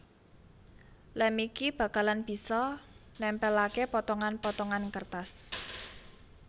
Lem iki bakalan bisa nempelake potongan potongan kertas